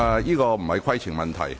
這並非規程問題。